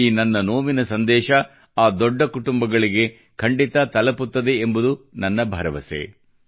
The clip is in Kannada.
ಈ ನನ್ನ ನೋವಿನ ಸಂದೇಶ ಆ ದೊಡ್ಡ ಕುಟುಂಬಗಳಿಗೆ ಖಂಡಿತಾ ತಲುಪುತ್ತದೆ ಎಂಬುದು ನನ್ನ ಭರವಸೆ